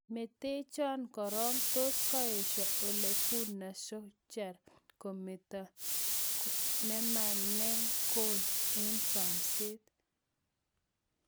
metenchon korong, tos koesho Ole Gunner Solskjaer kometa nename gol en samset